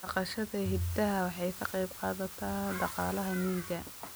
Dhaqashada idaha waxay ka qayb qaadataa dhaqaalaha miyiga.